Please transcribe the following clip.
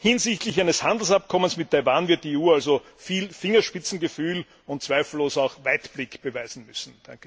Hinsichtlich eines Handelsabkommens mit Taiwan wird die EU also viel Fingerspitzengefühl und zweifellos auch Weitblick beweisen müssen.